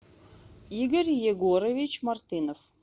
игорь егорович мартынов